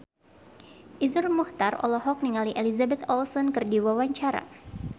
Iszur Muchtar olohok ningali Elizabeth Olsen keur diwawancara